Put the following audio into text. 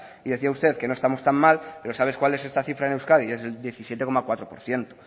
y decía usted que no estamos tan mal pero sabes cuál es esta cifra en euskadi es del diecisiete coma cuatro por ciento